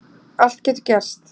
Allt getur gerst